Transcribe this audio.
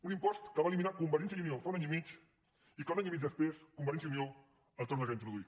un impost que va eliminar convergència i unió fa un any i mig i que un any i mig després convergència i unió el torna a introduir